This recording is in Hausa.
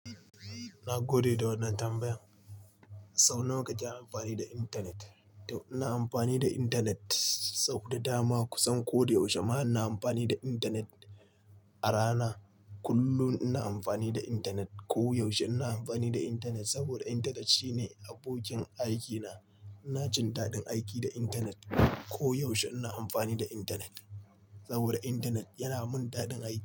Na gode da wannan tambayan. Sau nawa kake amfani da intanet? To ina amfani da intanet sau da dama. Kusan ko da yaushe ma ina amfani da intanet. A rana kullum ina amfani da intanet. Koyaushe ina amfani da intanet saboda intanet shine abokin aikina. Ina jin daɗin aiki da intanet. Koyaushe ina amfani da intanet saboda intanet yana mun daɗin aiki.